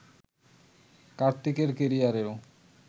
কার্তিকের ক্যারিয়ারেও